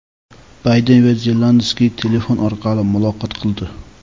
Bayden va Zelenskiy telefon orqali muloqot qildi.